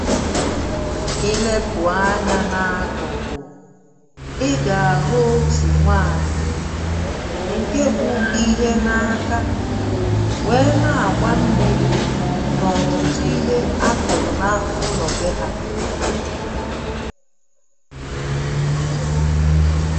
Ilepụ anyá n’akụ̀kụ̀ ị gà-àhụ otù nwaanyị̀ ǹké bu ihé n’áká wéé na-àgbá mmiri n’ọ̀tụtụ ihé a kụ̀rụ̀ na ụlọ̀ bé ha